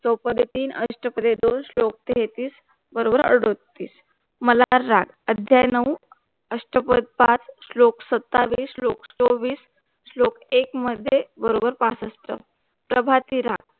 चौपदे तीन अष्टपदे दोन श्लोक तेहतीस बरोबर अडोतीस मला राग अध्याय नऊ अष्टपद पाच, श्लोक सत्तावीस श्लोक चोवीस श्लोक एक मध्ये बरोबर पासष्ठ प्रभाती राग